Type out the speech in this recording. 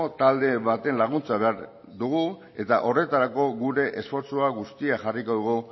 talde baten laguntza behar dugu eta horretarako gure esfortzu guztia jarriko dugu